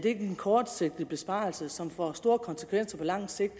ikke er en kortsigtet besparelse som får store konsekvenser på lang sigt